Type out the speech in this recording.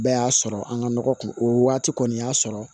Bɛɛ y'a sɔrɔ an ka nɔgɔ kun o waati kɔni y'a sɔrɔ